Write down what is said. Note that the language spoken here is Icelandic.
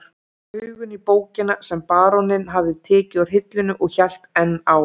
Skáldið rak augun í bókina sem baróninn hafði tekið úr hillunni og hélt enn á